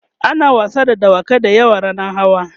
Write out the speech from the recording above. ana wasa da dawakai da yawa rannan hawa